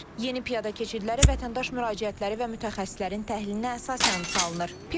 Yeni piyada keçidləri vətəndaş müraciətləri və mütəxəssislərin təhlilinə əsasən salınır.